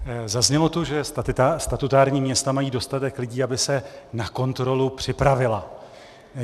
Zaznělo tu, že statutární města mají dostatek lidí, aby se na kontrolu připravila.